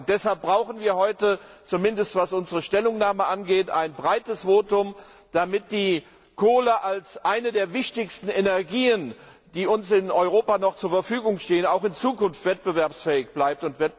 Deshalb brauchen wir heute zumindest was unsere Stellungnahme angeht ein breites Votum, damit die Kohle als eine der wichtigsten Energien, die uns in Europa noch zur Verfügung stehen, auch in Zukunft wettbewerbsfähig bleibt.